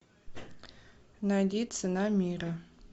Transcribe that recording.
найди цена мира